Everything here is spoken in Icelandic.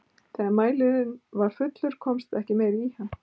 Þegar mælirinn var fullur komst ekki meira í hann.